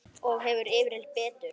Og hefur yfirleitt betur.